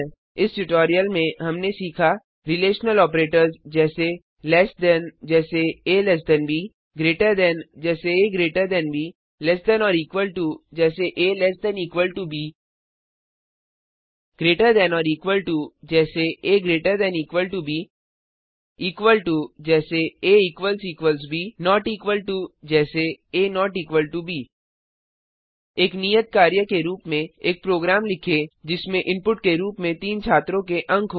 इस ट्यूटोरियल में हमने सीखा रिलेशनल ऑपरेटर्स जैसे लेस थान से कम जैसे आ ब less than or equal to से कम या बराबर जैसे ab greater than or equal to से अधिक या बराबर जैसे ab इक्वल टो के बराबर जैसे ab नोट इक्वल टो के बराबर नहीं जैसे ab एक नियत कार्य के रूप में एक प्रोग्राम लिखें जिसमें इनपुट के रूप में तीन छात्रों के अंक हों